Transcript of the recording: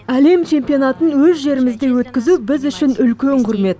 әлем чемпионатын өз жерімізде өткізу біз үшін үлкен құрмет